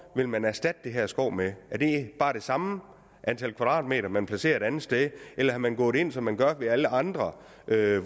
vil man erstatte det her skov med er det bare det samme antal kvadratmeter man placerer et andet sted eller er man gået ind som man gør ved alle andre